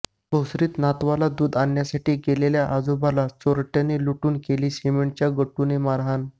भोसरीत नातवाला दुध आणण्यासाठी गेलेल्या आजोबाला चोरट्यांनी लुटून केली सिमेंटच्या गट्टूने मारहाण